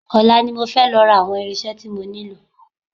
Ọ̀la ni mo fẹ́ lọ ra àwọn irinṣẹ́ tí mo nílò